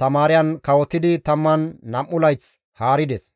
Samaariyan kawotidi 12 layth haarides.